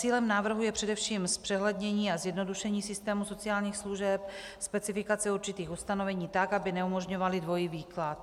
Cílem návrhu je především zpřehlednění a zjednodušení systému sociálních služeb, specifikace určitých ustanovení tak, aby neumožňovala dvojí výklad.